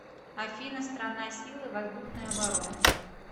афина страна силы воздушной обороны